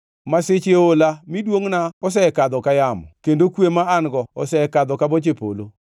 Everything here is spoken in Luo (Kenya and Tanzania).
Masiche oola; mi duongʼna osekadho ka yamo, kendo kwe ma an-go osekadho ka boche polo.